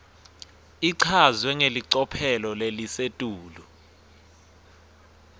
ichazwe ngelicophelo lelisetulu